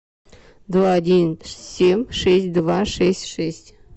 два один семь шесть два шесть шесть